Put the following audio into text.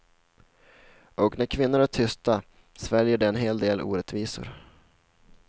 Och när kvinnor är tysta sväljer de en hel del orättvisor.